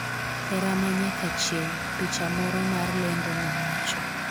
hera manyaka chieng' - picha moro mar lendo nowacho